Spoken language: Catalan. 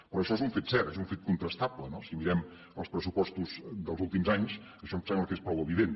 però això és un fet cert és un fet contrastable no si mirem els pressupostos dels últims anys això em sembla que és prou evident